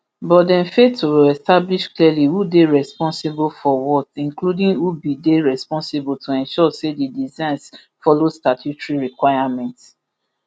but dem fail to establish clearly who dey responsible for what including who bin dey responsible to ensure say di designs follow statutory requirements